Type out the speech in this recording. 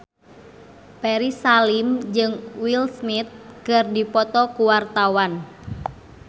Ferry Salim jeung Will Smith keur dipoto ku wartawan